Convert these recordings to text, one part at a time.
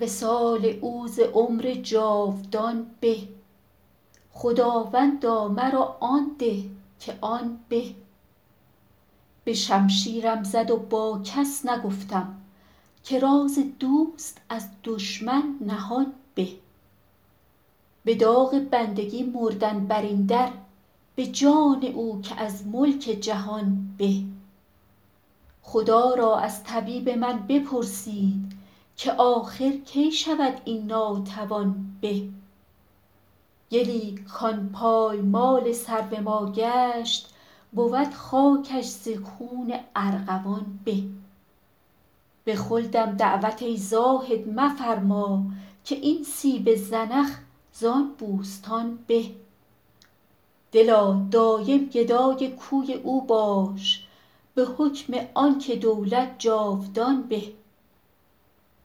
وصال او ز عمر جاودان به خداوندا مرا آن ده که آن به به شمشیرم زد و با کس نگفتم که راز دوست از دشمن نهان به به داغ بندگی مردن بر این در به جان او که از ملک جهان به خدا را از طبیب من بپرسید که آخر کی شود این ناتوان به گلی کان پایمال سرو ما گشت بود خاکش ز خون ارغوان به به خلدم دعوت ای زاهد مفرما که این سیب زنخ زان بوستان به دلا دایم گدای کوی او باش به حکم آن که دولت جاودان به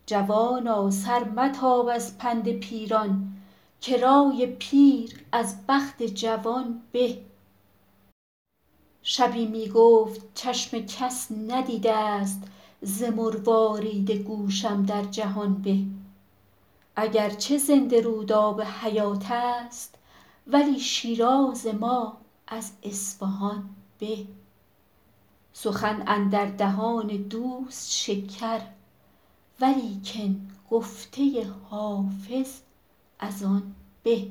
جوانا سر متاب از پند پیران که رای پیر از بخت جوان به شبی می گفت چشم کس ندیده ست ز مروارید گوشم در جهان به اگر چه زنده رود آب حیات است ولی شیراز ما از اصفهان به سخن اندر دهان دوست شکر ولیکن گفته حافظ از آن به